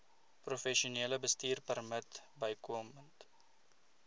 professionele bestuurpermit bykomend